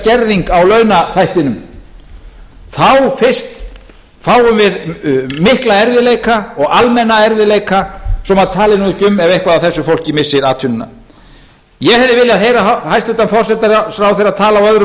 skerðing á launaþættinum þá fyrst fáum við mála erfiðleika og almenna erfiðleika svo að maður tali nú ekki ef eitthvað af þessu fólki missir atvinnuna ég hefði viljað heyra hæstvirtur forsætisráðherra tala á öðrum